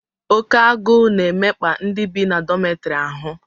Oke agụụ na-emekpa ndị bi na dọmịtọrị ahụ